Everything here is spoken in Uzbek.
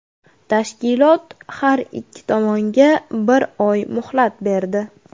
Tashkilot har ikki tomonga bir oy muhlat berdi.